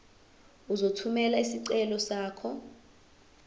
uzothumela isicelo sakho